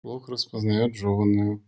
блок распознает жёванную